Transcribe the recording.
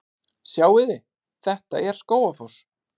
Sjáiði! Þetta er Skógafoss.